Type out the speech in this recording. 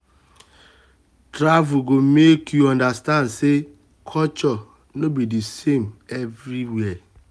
travel go make you understand say culture no be the same everywhere.